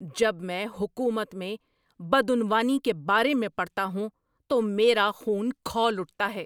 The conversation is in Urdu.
جب میں حکومت میں بدعنوانی کے بارے میں پڑھتا ہوں تو میرا خون کھول اٹھتا ہے۔